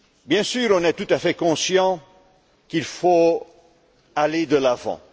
Bien sûr, on est tout à fait conscients qu'il faut aller de l'avant.